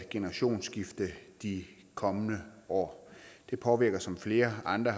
generationsskifte de kommende år det påvirker som flere andre